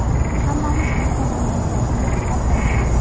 Hammamiz bitta mamlakat, yurt farzandimiz.